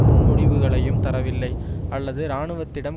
முன்மொழிவுகளையும் தரவில்லை அல்லது இராணுவத்திடம்